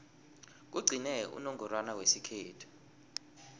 kugcine unongorwana wesikhethu